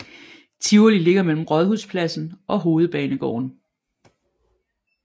Tivoli ligger mellem Rådhuspladsen og Hovedbanegården